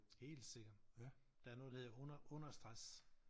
Helt sikkert. Der noget der hedder under understress